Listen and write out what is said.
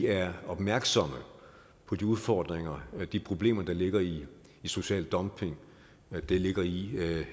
er opmærksomme på de udfordringer og de problemer der ligger i social dumping der ligger i